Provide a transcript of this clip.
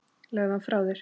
Legðu hann frá þér